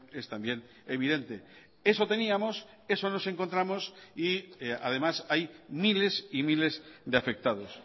es también evidente eso teníamos eso nos encontramos y además hay miles y miles de afectados